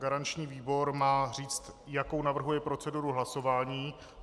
Garanční výbor má říct, jakou navrhuje proceduru hlasování.